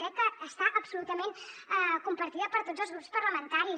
crec que és absolutament compartida per tots els grups parlamentaris